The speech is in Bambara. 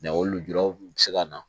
o lujura kun bɛ se ka na